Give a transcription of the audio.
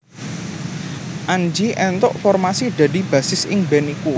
Anji éntuk formasi dadi bassis ing band iku